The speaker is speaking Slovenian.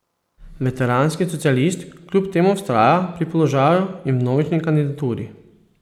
Veteranski socialist kljub temu vztraja pri položaju in vnovični kandidaturi.